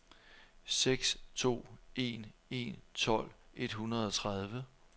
seks to en en tolv et hundrede og tredive